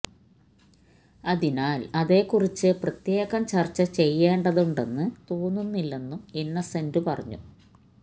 അതിനാല് അതേക്കുറിച്ച് പ്രത്യേകം ചര്ച്ച ചെയ്യേണ്ടതുണ്ടെന്ന് തോന്നുന്നില്ലെന്നും ഇന്നസെന്റ് പറഞ്ഞു